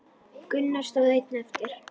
Gunnar stóð einn eftir.